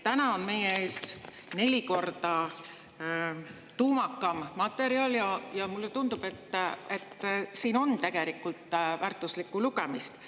Täna on meie ees neli korda tuumakam materjal ja mulle tundub, et siin on tegelikult väärtuslikku lugemist.